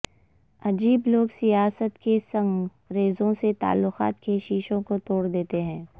عجیب لوگ سیاست کے سنگ ریزوں سے تعلقات کے شیشوں کو توڑ دیتے ہیں